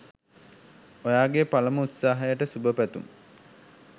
ඔයාගෙ පලමු උත්සාහයට සුභ පැතුම්